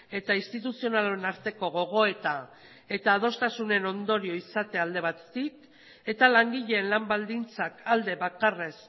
eta instituzionalon arteko gogoeta eta adostasunen ondorioa izatea alde batetik eta langileen lan baldintzak alde bakarrez